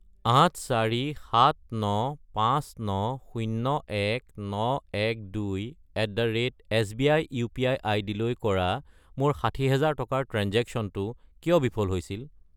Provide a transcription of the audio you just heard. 84,79,59,01,912@sbi UPI. আইডিলৈ কৰা মোৰ 60000 টকাৰ ট্ৰেঞ্জেক্শ্য়নটো কিয় বিফল হৈছিল?